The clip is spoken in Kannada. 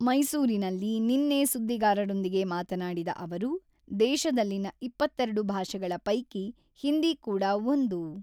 ಮೈಸೂರಿನಲ್ಲಿ ನಿನ್ನೆ ಸುದ್ದಿಗಾರರೊಂದಿಗೆ ಮಾತನಾಡಿದ ಅವರು, ದೇಶದಲ್ಲಿನ ಇಪ್ಪತ್ತೆರಡು ಭಾಷೆಗಳ ಪೈಕಿ ಹಿಂದಿ ಕೂಡಾ ಒಂದು.